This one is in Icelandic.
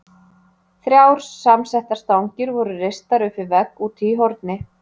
Þrjár samsettar stangir voru reistar upp við vegg úti í horni.